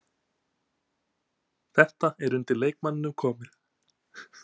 Þetta er undir leikmanninum komið.